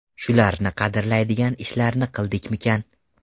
Shularni qadrlaydigan ishlarni qildikmikan?